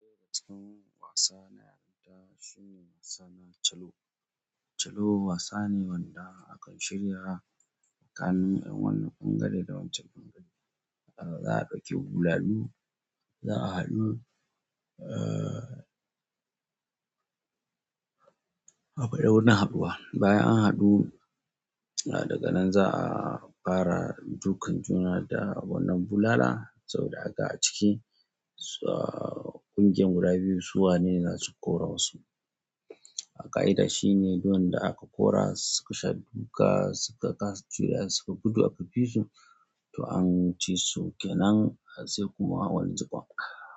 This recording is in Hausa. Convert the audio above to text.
Ɗaya cikin wasa na yarinta shine wasa na cello. Cello wasa ne wanda akan shirya tsakanin 'yan wani bangare da wancan bangare. Za a ɗauki bulalu, za a haɗu, a akwai wani haɗuwa. Bayan an haɗu, daga nan za a fara dukan juna da wannan bulala saboda aga a ciki ƙungiyar guda biyu su wane zasu kora wasu. A ƙa'ida shine duk wanda aka ƙora suka sha duka, suka kasa jurewa suka gudu a fifitu, to an ci su kenan sai kuma wani jiqon.